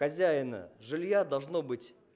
хозяина жилья должно быть